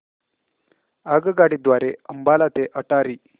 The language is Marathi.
आगगाडी द्वारे अंबाला ते अटारी